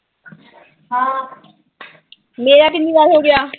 ਮੇਰਾ ਕਿੰਨੀ ਵਾਰ ਹੋਗਿਆ।